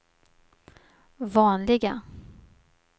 vanliga